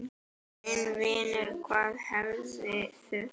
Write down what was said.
Minn vinur, hvað hefði þurft?